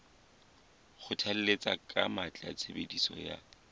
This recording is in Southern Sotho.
kgothalletsa ka matla tshebediso ya